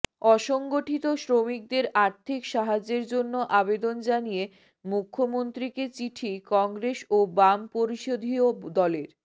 অসংগঠিত শ্রমিকদের আর্থিক সাহায্যের জন্য আবেদন জানিয়ে মুখ্যমন্ত্রীকে চিঠি কংগ্রেস ও বাম পরিশোধীয় দলের